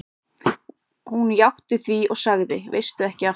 Hún játti því og sagði: Veistu ekki af hverju?